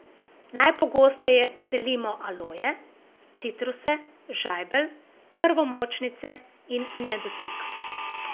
Najpogosteje selimo aloje, citruse, žajbelj, krvomočnice in nedotik.